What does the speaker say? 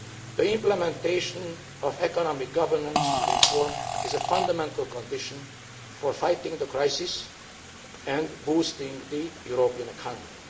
The implementation of economic governance reform is a fundamental condition for fighting the crisis and boosting the European economy.